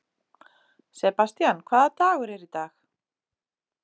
Sebastían, hvaða dagur er í dag?